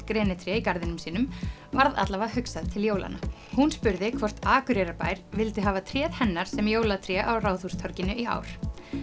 grenitré í garðinum sínum varð alla vega hugsað til jólanna hún spurði hvort Akureyrarbær vildi hafa tréð hennar sem jólatré Ráðhústorginu í ár